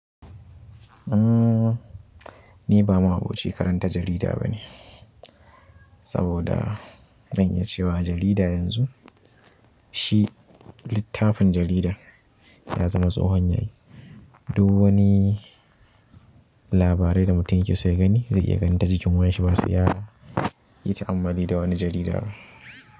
Ni ba mahobicin karanta jarida bane, saboda zan iya ce wa jarida yanzu, shi littafin jaridar ya zama tsohon yayi. Duk wani labarai da mutum yake so ya gani zai iya gani ta jikin wayar shi ba sai ya yi ta'ammali da wani jarida ba.